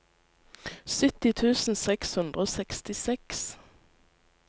sytti tusen seks hundre og sekstiseks